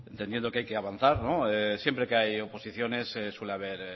entendiendo que hay que avanzar siempre que hay oposiciones suele haber